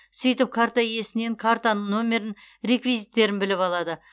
сөйтіп карта иесінен картаның нөмірін реквизиттерін біліп алады